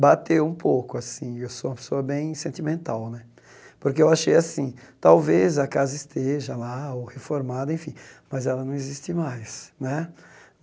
Bateu um pouco assim, eu sou uma pessoa bem sentimental né, porque achei assim, talvez a casa esteja lá ou reformada enfim, mas ela não existe mais né.